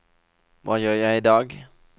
hva gjør jeg idag